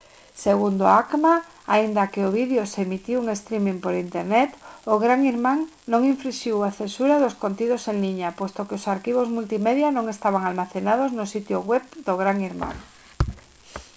segundo a acma aínda que o vídeo se emitiu en streaming por internet o gran irmán non infrinxiu a censura dos contidos en liña posto que os arquivos multimedia non estaban almacenados no sitio web do gran irmán